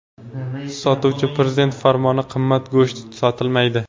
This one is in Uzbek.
Sotuvchi: ‘Prezident farmoni qimmat go‘sht sotilmaydi.